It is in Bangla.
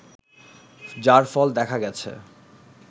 যার ফল দেখা গেছে